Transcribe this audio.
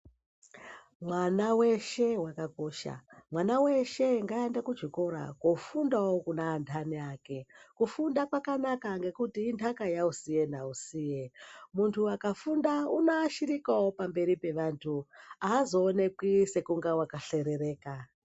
Mwana weshe wakakosha ,mwana weshe ngaende kuchikora kofundawo kune andani ake. Kufunda kwakanaka ngekuti indaka yausiye nausiye muntu akafunda unoashirikawo pamberi pevantu aazowonekwi sekunga wakahlerereka.